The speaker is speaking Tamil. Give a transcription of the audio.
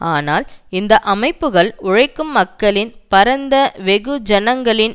ஆனால் இந்த அமைப்புக்கள் உழைக்கும் மக்களின் பரந்த வெகுஜனங்களின்